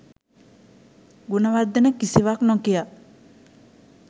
ගුණවර්ධන කිසිවක් නොකියා